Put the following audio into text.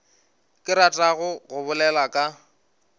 ke ratago go bolela ka